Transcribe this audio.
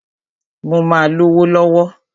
Mó máà lówó lọ̀wọ̀.